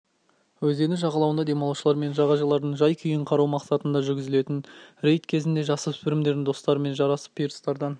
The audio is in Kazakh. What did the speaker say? өзені жағалауында демалушылар мен жағажайлардың жай-күйін қарау мақсатында жүргізілетін рейд кезінде жасөспірімдердің достарымен жарысып пирстардан